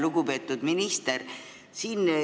Lugupeetud minister!